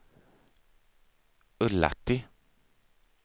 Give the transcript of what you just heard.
Ullatti